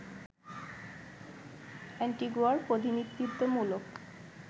অ্যান্টিগুয়ার প্রতিনিধিত্বমূলক